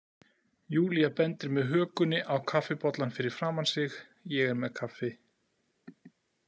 Júlía bendir með hökunni á kaffibollann fyrir framan sig, ég er með kaffi.